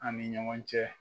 An' ni ɲɔgɔn cɛ